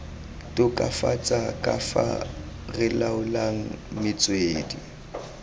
tokafatsa kafa re laolang metswedi